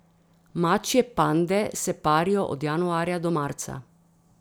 Mačje pande se parijo od januarja do marca.